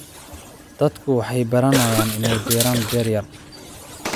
Dadku waxay baranayaan inay beeraan beer yar.